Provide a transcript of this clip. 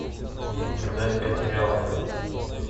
продать пять реалов